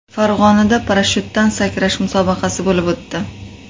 Farg‘onada parashutdan sakrash musobaqasi bo‘lib o‘tdi.